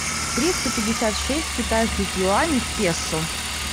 триста пятьдесят шесть китайских юаней в песо